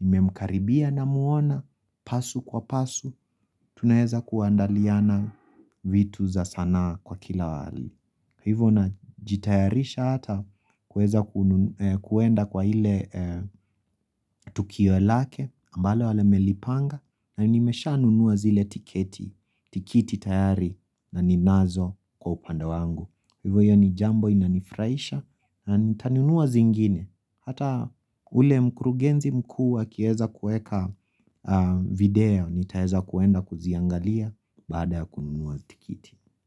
nimemkaribia namuona pasu kwa pasu Tunaweza kuandaliana vitu za sanaa kwa kila hali Hivo na jitayarisha hata kuweza kuenda kwa ile tukio lake ambalo wamelipanga na nimesha nunua zile tiketi, tikiti tayari na ninazo kwa upande wangu. Hivo hiyo ni jambo inanifurahisha na nitanunua zingine. Hata ule mkurugenzi mkuu akiweza kueka video nitaeza kuenda kuziangalia baada ya kununua tikiti.